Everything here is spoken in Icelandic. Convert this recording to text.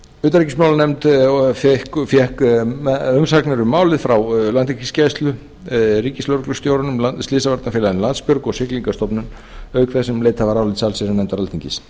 utanríkismálanefnd fékk um umsagnir um málið frá landhelgisgæslu ríkislögreglustjóranum slysavarnafélaginu landsbjörgu og siglingastofnun auk þess sem leitað var álits allsherjarnefndar alþingis